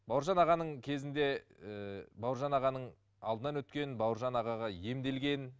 бауыржан ағаның кезінде ыыы бауыржан ағаның алдынан өткен бауыржан ағаға емделген